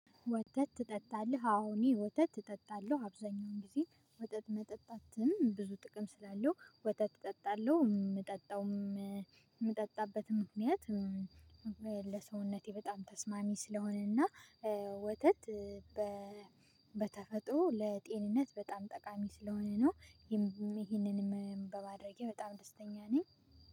ወጥተህ ትጠጣለህ አወ እኔ ወተት እጠጣለህ አብዛኛውን ጊዜ ወተትተ መጠጣትም ብዙ ጥቅም ስላለው ወተት እጠጣለሁ የምጠጣውም የምጠጣበትም ምክንያት ለሰውነቴ በጣም ተስማሚ ስለሆነና ወተት በተፈጥሮ ለጤንነት በጣም ጠቃሚ ስለሆነ ነው። ይሄንንም በማድረጌ በጣም ደስተኛ ነኝ።